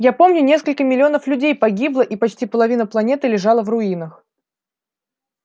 я помню несколько миллионов людей погибло и почти половина планеты лежало в руинах